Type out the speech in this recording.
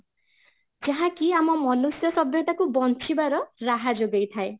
ଯାହାକି ଆମ ମନୁଷ୍ୟ ସଭ୍ୟତାକୁ ବଞ୍ଚିବାରାହା ଯୋଗାଇଥାଏ